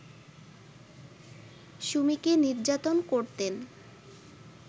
সুমিকে নির্যাতন করতেন